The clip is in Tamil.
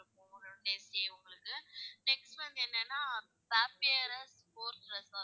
உங்களுது next வந்து என்னானா? வாம்பியறு போர்டு resort.